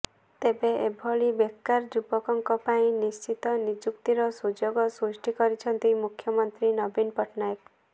ତେବେ ଏଭଳି ବେକାର ଯୁବକଙ୍କ ପାଇଁ ନିଶ୍ଚିତ ନିଯୁକ୍ତିର ସୁଯୋଗ ସୃଷ୍ଟି କରିଛନ୍ତି ମୁଖ୍ୟମନ୍ତ୍ରୀ ନବୀନ ପଟ୍ଟନାୟକ